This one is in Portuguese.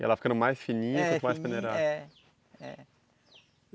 E ela ficando mais fininha, você pode peneirar. É, é.